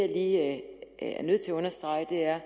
lige er nødt til at understrege er